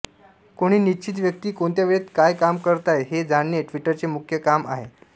कोणी निश्चित व्यक्ती कोणत्या वेळेत काय काम करत आहे हे जाणणे ट्विटरचे मुख्य काम आहे